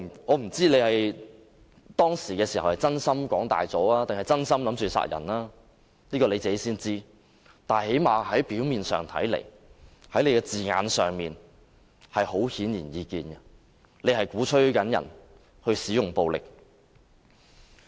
我不知道何君堯議員當時只是想誇大，還是真心想殺人，只有他自己才知道，但最低限度從他的字眼上顯而易見的是，他鼓吹其他人使用暴力。